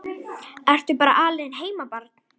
Ertu bara alein heima barn?